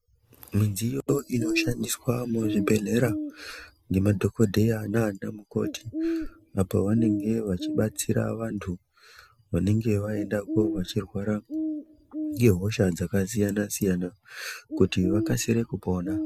Midziyo inoshandiswa muzvibhedhlera ngemadhokodheya nanamukoti apo vanenge vachibatsira vantu vanenge vaenda ko vachirwara ngehosha dzakasiyana siyana kuti vakasire kupona.